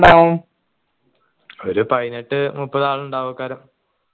ഒരു പൈനെട്ടു മുപ്പതാൾ ഉണ്ടഉംകാരോം